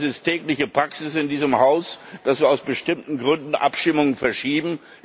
Das ist tägliche Praxis in diesem Haus, dass wir aus bestimmten Gründen Abstimmungen verschieben.